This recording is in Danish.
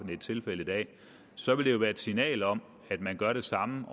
det er tilfældet i dag så vil det jo være et signal om at man gør det samme